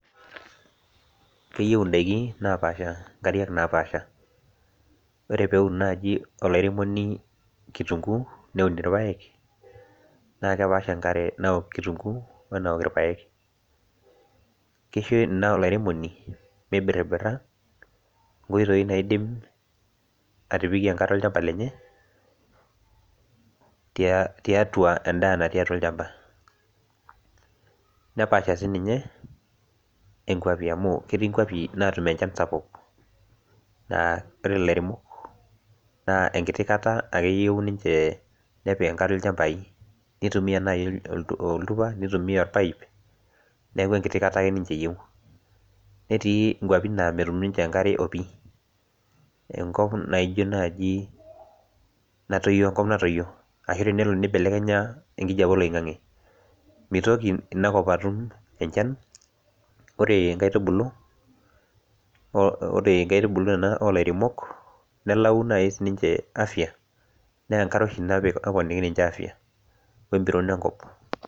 keyieu idaikin inkariak naapaasha, ore pee eun naaji olairemoni kitunguu neun ilpayek, naa kepaasha enkare nawok kitunguu wenawok ilpayek kisho ina olairemoni mibiribira inkoitoi naidim atipikie enkare olchamba lenye, tiatua edaa natii olchamba , nepaasha sii ninye ikwapi amu ketii inkwapi naatum enchan sapuk naa ore ilairemok enkiti kata ake eyieu niche nepik enkare ilchambai, kitumia naaji oltupa nitumiya olpaip, neeku enkiti kata ake niche eyieu netii inkwapi naa metum niche enkare opi enkop natoyio tenelo nibelekenya enkijape oiloing'age, mitoki ina kop atum enchan , ore inkaitubulu kuna oo ilairemok nelau naaji sii niche afia naa enkare oshi naponiki niche afia we mbiron enkop.